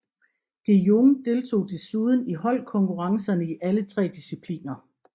De Jong deltog desuden i holdkonkurrencerne i alle tre discipliner